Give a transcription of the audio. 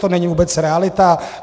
To není vůbec realita.